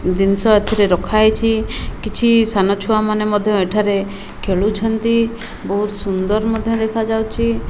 ଦିନିଷ ଏଥିରେ ରଖାହେଇଛି କିଛି ସାନ ଛୁଆ ମାନେ ମଧ୍ୟ ଏଠାରେ ଖେଳୁଛନ୍ତି ବହୁତ ସୁନ୍ଦର ମଧ୍ୟ ଦେଖା ଯାଉଛି।